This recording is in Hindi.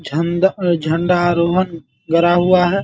झंडा झंडा आरोहण गड़ा हुआ है।